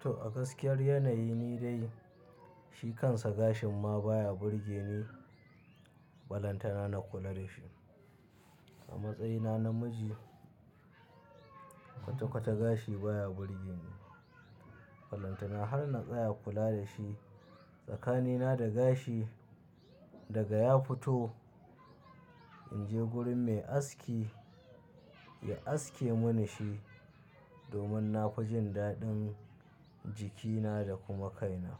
To, a gaskiyar yanayi ni dai shi kansa gashin ma baya burge ni. Balantana na kula da shi. A matsayina namiji kwata-kwata gashi baya burge ni. Balantana har na tsaya kula da shi tsakanina da gashi daga ya fito, in je gurin mai aski ya aske mini shi domin na fi jin daɗin jikina da kuma kaina.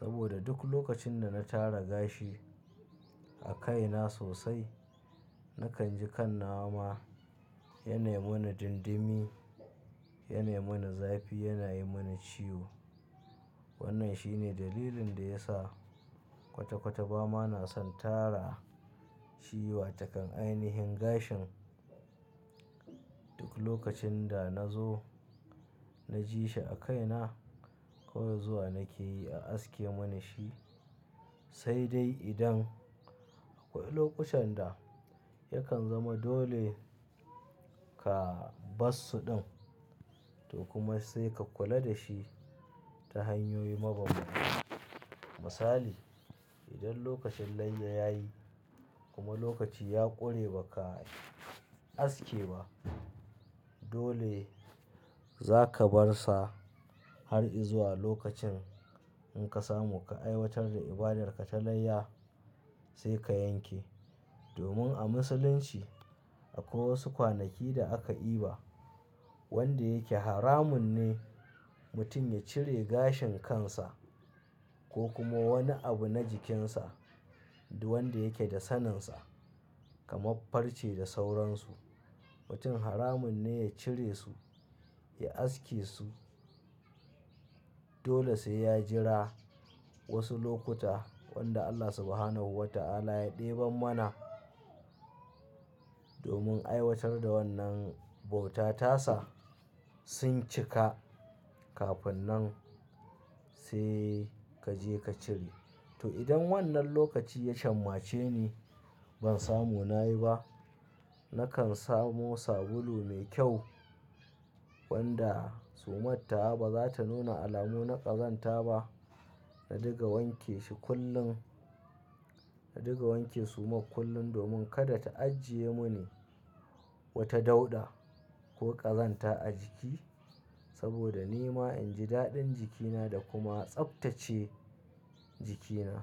Saboda duk lokacin da na tara gashi a kaina sosai, nakan ji kan nawama yana yi mini dindimi, yana yi mini zafi, yana yi mini ciwo. Wannan shine dalilin da ya sa kwata-kwata ba ma na son tara shi wa takan ainihin gashin. Duk lokacin da na zo na ji shi a kaina, kawai zuwa nake yi ya aske mini shi. Sai dai idan akwai lokutan da yakan zama dole ka bar su ɗin to kuma sai ka kula da shi ta hanyoyi mabambanta. Misali, idan lokacin layya ya yi kuma lokaci ya ƙure ba ka aske ba, dole za ka bar sa har izuwa lokacin in ka samu ka aiwatar da ibadar ka ta layya sai ka yanke. Domin a musulunci akwai wasu kwanaki da aka iba wanda yake haramun ne mutum ya cire gashin kansa ko kuma wani abu na jikinsa da wanda yake da saninsa kamar farce da sauransu. Mutum haramun ne ya cire su, ya aske su. Dole sai ya jira wasu lokuta wanda Allah Subhanahu wa ta'ala ya ɗeban mana. Domin aiwatar da wannan bauta tasa sun cika kafin nan sai ka je ka cire. To idan wannan lokaci ya shan mace ni ban samu na yi ba, nakan samu sabulu mai kyau wanda sumartawa ba za ta nuna alamuna ƙazanta ba. Na diga wanke shi kullum, na diga wanke sumar kullum domin kada ta ajiye mini wata dauɗa ko ƙazanta a jiki. Saboda ni ma in ji daɗin jikina da kuma tsabtace jikina.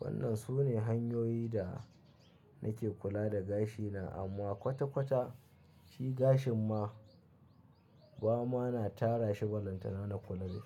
Wannan su ne hanyoyi da nake kula da gashina amma kwata-kwata shi gashin ma ba ma na tara shi balantana na kula da shi.